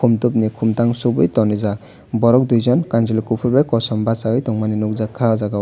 amtok ni komtang sugoi tangrijak borok dui jon kansuloi kopor bai kosom basaoe tangmani nogjaka o jaga o.